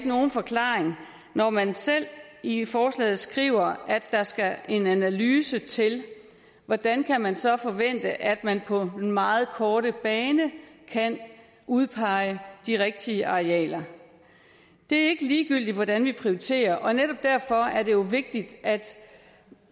nogen forklaring når man selv i forslaget skriver at der skal en analyse til hvordan kan man så forvente at man på den meget korte bane kan udpege de rigtige arealer det er ikke ligegyldigt hvordan vi prioriterer og netop derfor er det jo vigtigt at